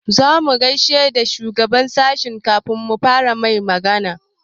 Za mu gaishe da shugaban sashinmu kafin mu fara mai magana.